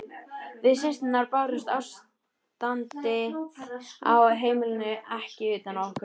Við systurnar bárum ástandið á heimilinu ekki utan á okkur.